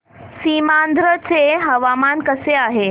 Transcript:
सीमांध्र चे हवामान कसे आहे